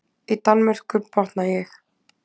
Í Danmörku, botna ég.